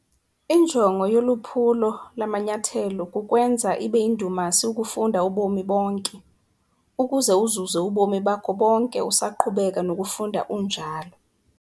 Injongo yoluphulo lamanyathelo kukwenza ibeyindumasi ukufunda ubomi bonke ukuze uzuze ubomi bakho bonke usaqhubeka nokufunda unjalo.